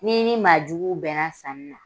N'i ni maa juguw bɛnna sanni na